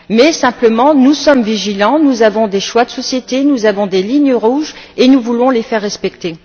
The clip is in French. Mais, simplement, nous sommes vigilants, nous avons des choix de société, nous avons des lignes rouges et nous voulons les faire respecter.